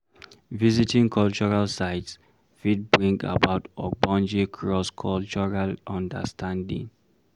Visiting cultural sites fit bring about ogbonge cross cultural understanding